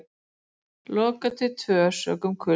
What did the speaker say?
Lokað til tvö sökum kulda